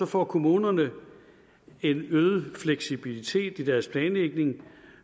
får kommunerne en øget fleksibilitet i deres planlægning